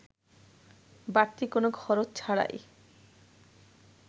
বাড়তি কোনো খরচ ছাড়াই